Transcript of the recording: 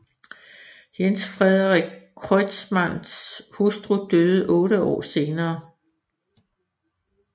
Jens Frederik Kreutzmanns hustru døde otte år senere